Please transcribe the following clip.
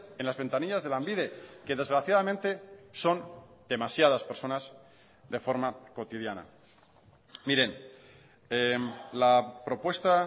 en las ventanillas de lanbide que desgraciadamente son demasiadas personas de forma cotidiana miren la propuesta